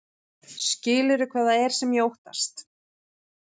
Skilurðu hvað það er sem ég óttast?